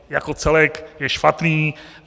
Jako celek je špatný.